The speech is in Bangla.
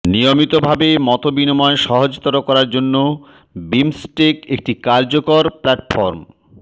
নিয়মিতভাবে মতবিনিময় সহজতর করার জন্য বিমস্টেক একটি কার্যকর প্ল্যাটফর্ম